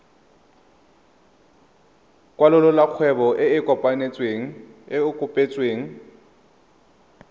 kwalolola kgwebo e e kopetsweng